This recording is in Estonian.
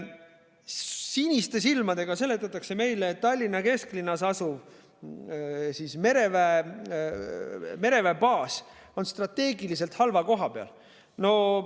Siniste silmadega seletatakse meile, et Tallinna kesklinnas asuv mereväebaas on strateegiliselt halva koha peal.